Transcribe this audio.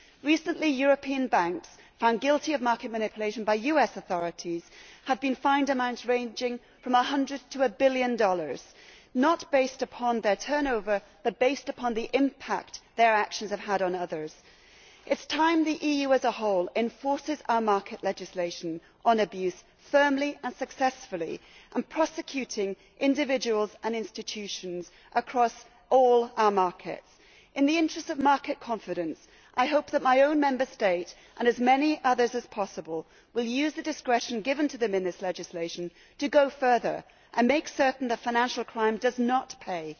Recently, European banks found guilty of market manipulation by US authorities have been fined amounts ranging from USD 100 to USD 1 billion, on the basis not of their turnover but of the impact their actions have had on others. It is time that the EU as a whole enforced our market legislation on abuse firmly and successfully and prosecuted individuals and institutions across all our markets. In the interests of market confidence, I hope that my own Member State and as many others as possible will use the discretion given to them in this legislation to go further and make certain that financial crime does not pay.